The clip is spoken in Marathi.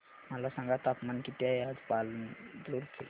मला सांगा तापमान किती आहे आज पालांदूर चे